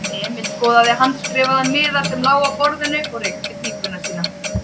Emil skoðaði handskrifaðan miða sem lá á borðinu og reykti pípuna sína.